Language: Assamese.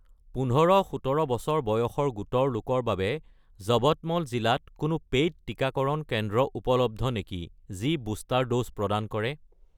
১৫-১৭ বছৰ বয়সৰ গোটৰ লোকৰ বাবে যৱতমল জিলাত কোনো পেইড টিকাকৰণ কেন্দ্ৰ উপলব্ধ নেকি যি বুষ্টাৰ ড'জ প্ৰদান কৰে?